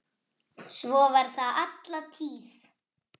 Svo var það alla tíð.